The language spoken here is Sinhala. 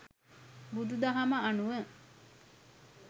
බුදු දහම අනුව